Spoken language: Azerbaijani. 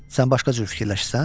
Sən başqa cür fikirləşirsən?